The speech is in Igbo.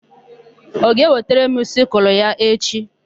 Ọ ga-ewetara m sịkụlụ ya echi?